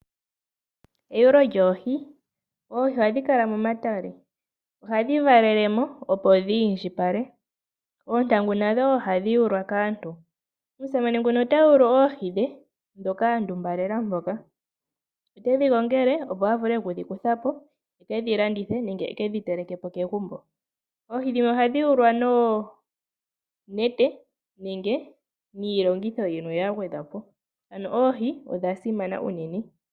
Eyulo lyoohi Oohi ohadhi kala momatale. Ohadhi valele mo, opo dhi indjipale. Oontangu nadho wo ohadhi yulwa kaantu. Omusamane ota yulu oohi dhe, ndhoka a ndumbalela mpoka. Ote dhi gongele opo a vule oku dhi kutha po e ke dhi landithe nenge e ke dhi teleke po kegumbo. Oohi dhimwe ohadhi yulwa noonete nenge niilongitho yimwe ya gwedhwa po. Oohi odha simana unene.